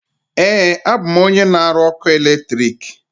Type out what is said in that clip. Ee, abụ m onye na aru ọkụ eletrik.